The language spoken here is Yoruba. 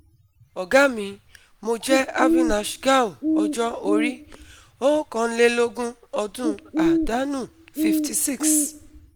Ọ̀gá mi, mo jẹ́ Avinash gaur ọjọ́ orí:- ookanlelogun ọdún àdánù:-56